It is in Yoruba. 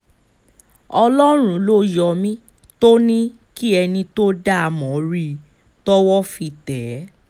ọlọ́run ló yọ mí tó ní kí ẹni tó dá a mọ̀ rí i tọ́wọ́ fi tẹ̀ ẹ́